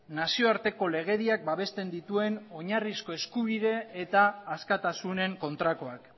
nazio arteko legediak babesten dituen oinarrizko eskubide eta askatasunen kontrakoak